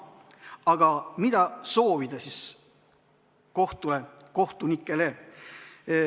Aga mida soovida kohtule ja kohtunikele?